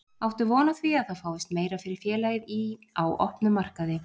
Áttu von á því að það fáist meira fyrir félagið í, á opnum markaði?